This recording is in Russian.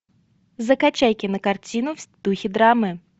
закачай кинокартину в духе драмы